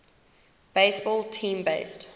baseball team based